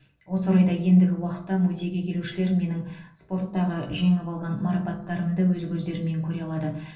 осы орайда ендігі уақытта музейге келушілер менің спорттағы жеңіп алған марапаттарымды өз көздерімен көре алады